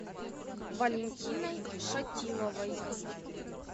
валентиной шатиловой